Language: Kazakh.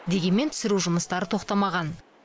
дегенмен түсіру жұмыстары тоқтамаған